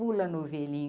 Pula Novelinho.